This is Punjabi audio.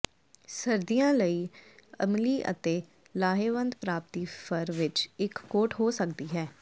ਸਰਦੀਆਂ ਲਈ ਅਮਲੀ ਅਤੇ ਲਾਹੇਵੰਦ ਪ੍ਰਾਪਤੀ ਫਰ ਵਿਚ ਇਕ ਕੋਟ ਹੋ ਸਕਦੀ ਹੈ